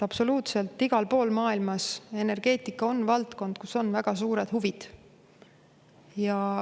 Absoluutselt igal pool maailmas on energeetika valdkond, kus on väga suured huvid.